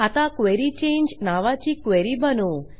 आता क्वेरी चांगे नावाची क्वेरी बनवू